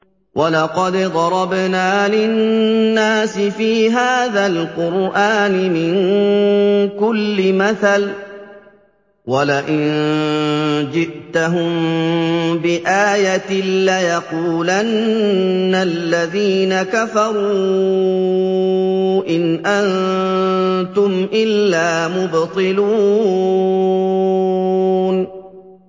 وَلَقَدْ ضَرَبْنَا لِلنَّاسِ فِي هَٰذَا الْقُرْآنِ مِن كُلِّ مَثَلٍ ۚ وَلَئِن جِئْتَهُم بِآيَةٍ لَّيَقُولَنَّ الَّذِينَ كَفَرُوا إِنْ أَنتُمْ إِلَّا مُبْطِلُونَ